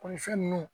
ninnu